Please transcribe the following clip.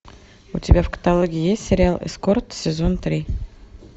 у тебя в каталоге есть сериал эскорт сезон три